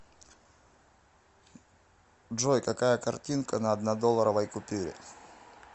джой какая картинка на однодолларовой купюре